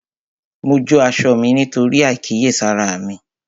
Mo jó aṣọ mí nítorí àìkíyèsára mi